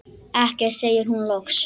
Ekkert, segir hún loks.